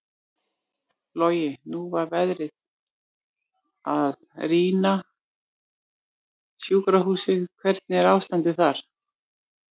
Logi: Nú var verið að rýma sjúkrahúsið, hvernig er ástandið þar?